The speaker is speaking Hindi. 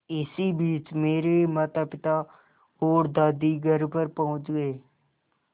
इसी बीच मेरे मातापिता और दादी घर पहुँच गए